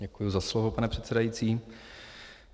Děkuji za slovo, pane předsedající.